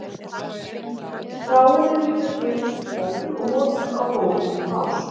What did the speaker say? stráin eru líka gefin sem fóður og notuð á gólf í básum